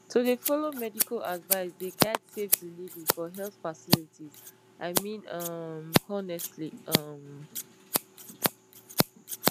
to de follow medical advice dey guide safe delivery for health facilities i mean um honestly um